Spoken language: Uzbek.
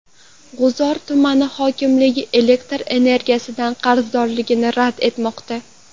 G‘uzor tuman hokimligi elektr energiyadan qarzdorligini rad etmoqda.